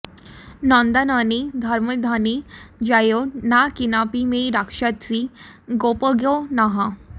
नन्दानने धर्मधने जयो ना केनापि मे रक्षसि गोपगो नः